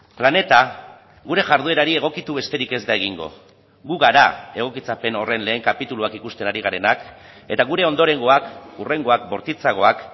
planeta gure jarduerari egokitu besterik ez da egingo gu gara egokitzapen horren lehen kapituluak ikusten ari garenak eta gure ondorengoak hurrengoak bortitzagoak